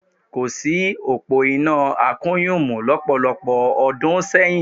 Kò sí òpó iná akùnyùmù lọ́pọ̀lọpọ̀ ọdún sẹ́yìn